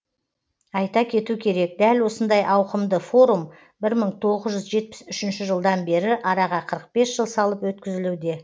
айта кету керек дәл осындай ауқымды форум бір мың тоғыз жүз жетпіс үшінші жылдан бері араға қырық бес жыл салып өткізілуде